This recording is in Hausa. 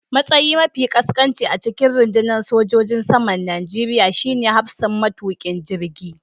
Matsayi mafi ƙasƙanci a cikin rundunar sojojin saman Najeriya shine hafsan matukin jirgi